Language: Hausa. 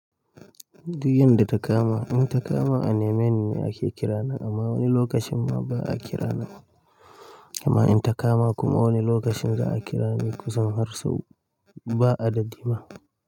Duk yadda ta kama. In ta kama a nemi ne ake kira na amma wani lokacin ma ba a kira nan. Amma in ta kama kuma wani lokacin za a kira ni kusan har sau ba adadi ma.